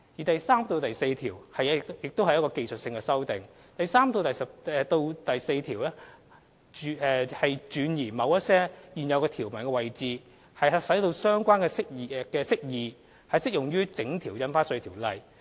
第3至4條─技術性修訂第3至4條也屬技術性修訂，轉移某些現有條文的位置，使相關釋義適用於整項《印花稅條例》。